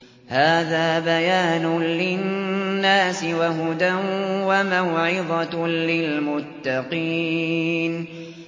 هَٰذَا بَيَانٌ لِّلنَّاسِ وَهُدًى وَمَوْعِظَةٌ لِّلْمُتَّقِينَ